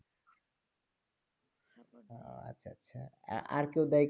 ও আচ্ছা আচ্ছা, আর কেউ দেয়